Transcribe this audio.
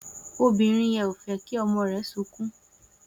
Obìnrin ò fẹ́ kí ọmọ rẹ̀ sunkún